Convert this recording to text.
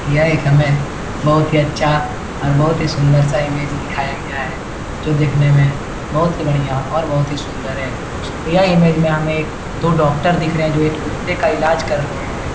यह एक हमें बहुत ही अच्छा और बहुत ही सुंदर-सा इमेज दिखाया गया है जो दिखने में बहुत ही बढ़िया और बहुत ही सुंदर है। यह इमेज में हमें एक दो डॉक्टर दिख रहे जो एक कुत्ते का इलाज कर रहे है।